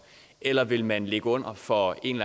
eller vil man ligge under for en